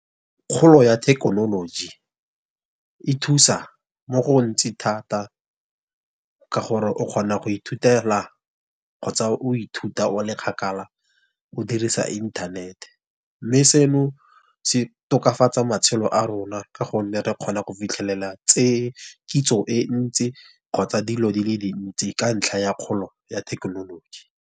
Kgolo ya thekenoloji, e thusa mo gontsi thata, ka gore o kgona go ithutela kgotsa o ithuta o le kgakala o dirisa e inthanete. Mme seno se tokafatsa matshelo a rona, ka gonne re kgona go fitlhelela tse kitso e ntsi kgotsa dilo di le dintsi, ka ntlha ya kgolo ya thekenoloji.